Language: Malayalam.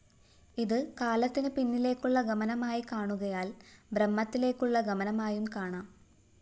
ഇത് കാലത്തിനു പിന്നിലേക്കുള്ള ഗമനമായി കാണുകയാല്‍ ബ്രഹ്മത്തിലേക്കുള്ള ഗമനമായും കാണാം